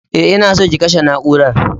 E, ina so ki kashe na'urar.